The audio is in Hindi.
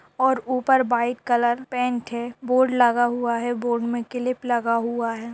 और ऊपर वाइट कलर पेंट है। बोर्ड लगा हुआ है। बोर्ड में क्लिप लगा हुआ है।